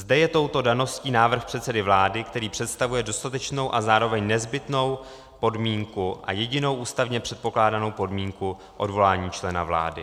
Zde je touto daností návrh předsedy vlády, který představuje dostatečnou a zároveň nezbytnou podmínku - a jedinou ústavně předpokládanou podmínku - odvolání člena vlády.